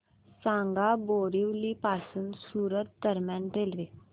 सांगा बोरिवली पासून सूरत दरम्यान रेल्वे